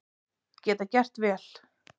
Geta gert vel